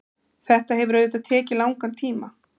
þetta hefur auðvitað tekið langan tíma